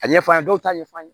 A ɲɛf'an ɲe dɔw t'a ɲɛf'a ye